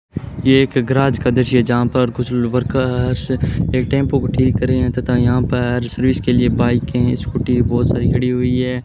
ये एक गराज का दृश्य है जहां पर कुछ वर्कर्स एक टेंपो को ठीक कर रहे हैं तथा यहां पर सर्विस के लिए बाइकें स्कूटी बहोत सारी खड़ी हुई हैं।